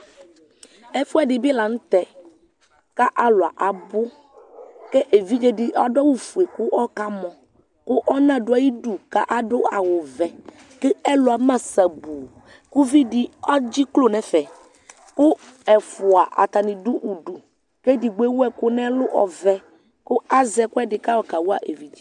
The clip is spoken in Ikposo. Ɛfʋɛdi bi lanʋtɛ kʋ alʋ abʋ kʋ evidzedi adʋ awʋfue kʋ ɔkamɔ kʋ ɔna dʋ ayidʋ kʋ adʋ awʋvɛ kʋ ɛlʋ ama sabʋʋ kʋ ividi edziklo nʋ ɛfɛ ɛfʋa atani dʋ ʋdʋ kʋ edigbo ewʋ ɛkʋ nʋ ɛlʋ ɔvɛ kʋ azɛ ɛkʋedi kʋ ayɔ kawa evidze